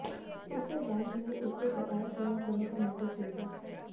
इससे बैंक ने उससे बकाया जमा करने को नोटिस भेजा